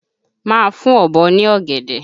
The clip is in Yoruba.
Máa fún Ọ̀bọ ní ọ̀gẹ̀dẹ̀!